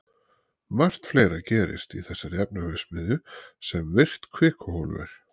Margt fleira gerist í þessari efnaverksmiðju sem virkt kvikuhólf er.